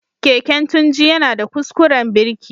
Keken Tunji yana da kuskuren birki.